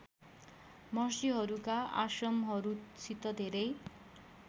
महर्षिहरूका आश्रमहरूसित धेरै